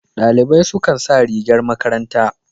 Dalibai su kan sa rigar makaranta.